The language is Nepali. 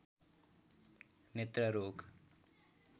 नेत्र रोग